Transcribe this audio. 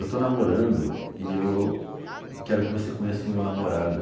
Eu estou namorando e eu quero que você conheça o meu namorado.